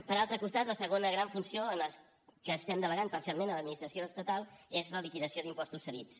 per altre costat la segona gran funció que estem delegant parcialment a l’administració estatal és la liquidació d’impostos cedits